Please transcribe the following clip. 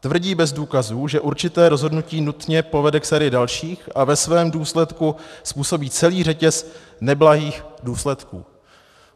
Tvrdí bez důkazů, že určité rozhodnutí nutně povede k sérii dalších a ve svém důsledku způsobí celý řetěz neblahých důsledků.